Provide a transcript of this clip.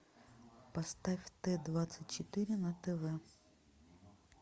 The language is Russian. поставь т двадцать четыре на тв